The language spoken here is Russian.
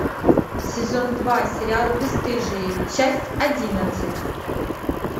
сезон два сериал бесстыжие часть одиннадцать